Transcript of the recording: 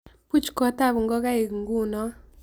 Puuch kot ab nkokaiik nkuuno